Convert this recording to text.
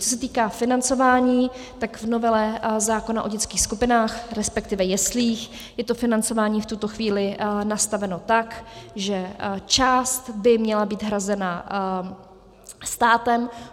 Co se týká financování, tak v novele zákona o dětských skupinách, respektive jeslích, je to financování v tuto chvíli nastaveno tak, že část by měla být hrazena státem.